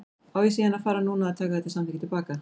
Á ég síðan að fara núna að taka þetta samþykki til baka?